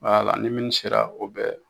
Wala ni minnu sera o bɛ